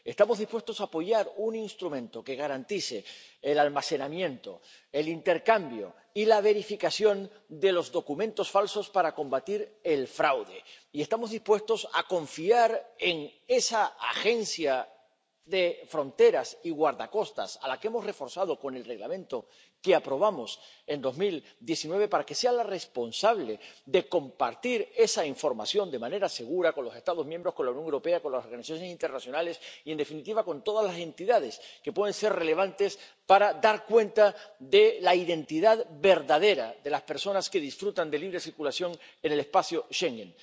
Estamos dispuestos a apoyar un instrumento que garantice el almacenamiento, el intercambio y la verificación de los documentos falsos, para combatir el fraude, y estamos dispuestos a confiar en la Agencia Europea de la Guardia de Fronteras y Costas, a la que hemos reforzado con el Reglamento que aprobamos en 2019, para que sea la responsable de compartir esa información de manera segura con los Estados miembros, con la Unión Europea, con las relaciones internacionales y, en definitiva, con todas las entidades que pueden ser relevantes para dar cuenta de la identidad verdadera de las personas que disfrutan de libre circulación en el espacio Schengen.